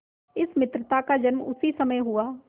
इस मित्रता का जन्म उसी समय हुआ